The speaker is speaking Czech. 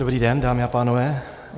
Dobrý den, dámy a pánové.